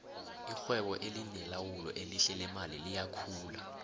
irhwebo elinelawulo elihle leemali liyakhula